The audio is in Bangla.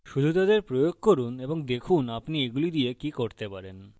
শুধু তাদের প্রয়োগ করুন এবং দেখুন আপনি এগুলি দিয়ে কি করতে পারেন